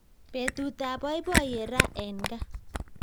Betutab boiboiyet ra en gaa